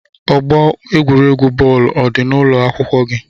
Ọgbọ egwuregwu bọọlu ọ dị n'ụlọ akwụkwọ gị?